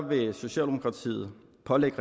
hvor man